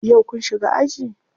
Yau kun shiga aji?